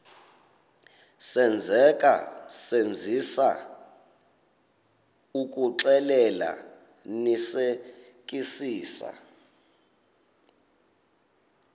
senzeka senzisisa ukuxclelanisekisisa